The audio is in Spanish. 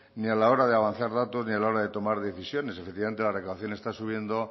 ni a la hora de avanzar datos ni a la hora de tomar decisiones efectivamente la declaración está subiendo